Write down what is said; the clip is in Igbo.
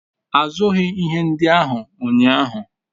azughi ihe ndi ahu unyahu